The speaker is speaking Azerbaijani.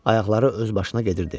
Ayaqları özbaşına gedirdi.